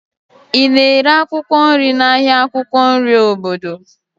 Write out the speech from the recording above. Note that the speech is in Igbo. Ị na-ere akwụkwọ nri n'ahịa akwụkwọ nri obodo?